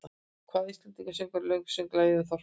Hvaða íslenski söngvari söng lagið um Þorparann?